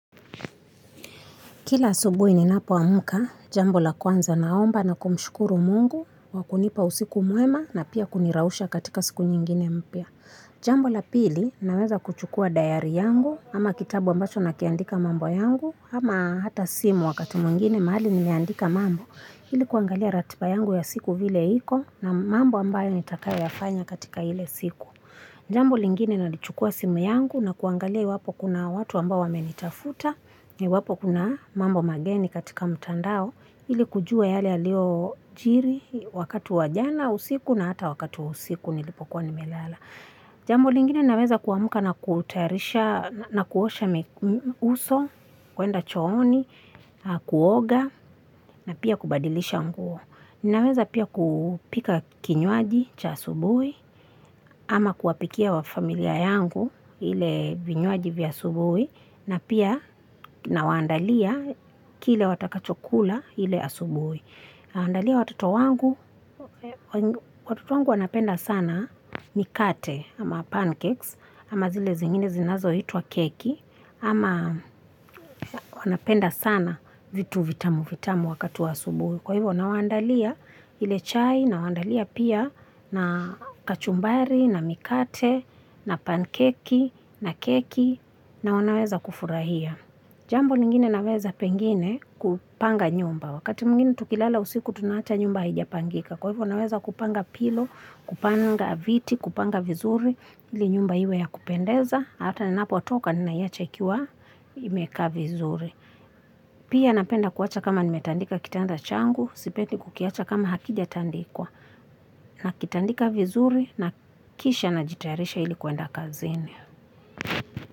Kila asubuhi ninapoamka, jambo la kwanza naomba na kumshukuru mungu, kwa kunipa usiku mwema na pia kunirausha katika siku nyingine mpya. Jambo la pili, naweza kuchukuwa dayari yangu, ama kitabu ambacho nakiandika mambo yangu, ama hata simu wakati mwingine mahali nimeandika mambo. Ili kuangalia ratiba yangu ya siku vile iko na mambo ambayo nitakayoyafanya katika ile siku. Jambo lengine nalichukua simu yangu na kuangalia iwapo kuna watu ambao wamenitafuta na iwapo kuna mambo mageni katika mtandao ili kujua yale yaliyojiri wakati wa jana usiku na hata wakati wa usiku nilipokuwa nimelala jambo lingine naweza kuamka na kutayarisha, na kuosha uso, kwenda chooni, kuoga, na pia kubadilisha nguo. Ninaweza pia kupika kinywaji cha asubuhi, ama kuwapikia wa familia yangu ile vinywaji vya asubuhi, na pia nawaandalia kile watakachokula ile asubuhi. Andalia watoto wangu, watoto wangu wanapenda sana mikate ama pancakes ama zile zengine zinazoitwa keki ama wanapenda sana vitu vitamu vitamu wakati wa asubuhi. Kwa hivyo nawaandalia ile chai nawaandalia pia na kachumbari na mikate na pankeki na keki na wanaweza kufurahia. Jambo lengine naweza pengine kupanga nyumba. Wakati mwingine tukilala usiku tunaacha nyumba haijapangika. Kwa hivyo naweza kupanga pilo, kupanga viti, kupanga vizuri. Ili nyumba iwe ya kupendeza. Hata ninapotoka ninaiacha ikiwa imekaa vizuri. Pia napenda kuacha kama nimetandika kitanda changu. Sipendi kukiacha kama hakijatandikwa. Nakitandika vizuri na kisha najitayarisha ili kwenda kazini.